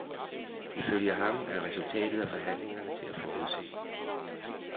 Ifølge ham er resultatet af forhandlingerne til at forudse.